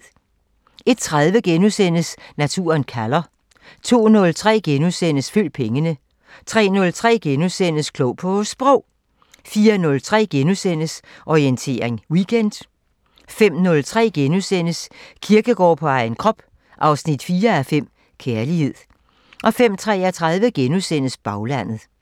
01:30: Naturen kalder * 02:03: Følg pengene * 03:03: Klog på Sprog * 04:03: Orientering Weekend * 05:03: Kierkegaard på egen krop 4:5 – Kærlighed * 05:33: Baglandet *